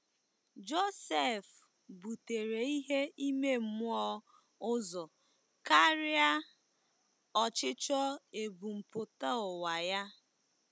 Josef butere ihe ime mmụọ ụzọ karịa ọchịchọ ebumpụta ụwa ya.